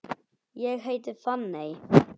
Ég heiti Fanney.